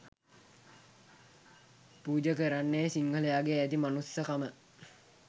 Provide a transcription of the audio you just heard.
පුජ කරන්නේ සිංහලයාගේ ඇති මනුස්සකම